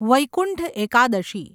Vaikuntha Ekadashi